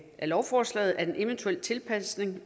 lovforslaget at en eventuel tilpasning